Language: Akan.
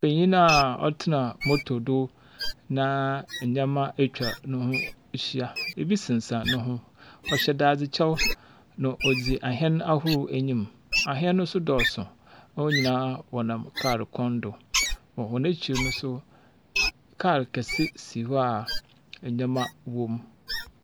Benyin a ɔtsena motor do na ndzɛmba etwa noho ehyia. Bi sensɛn no ho. Ɔhyɛ dadze kyɛw. Na odzi ahyɛn ahorow enyim. Ahyɛn no nso dɔɔso. Hɔn nyinaa wɔdam kaal kwan do. Wɔ hɔn ekyir no nso. Call kase si hɔ a ndzɛmba wɔ mu.